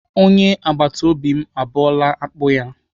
Onye agbatobi m abọọla akpụ ya.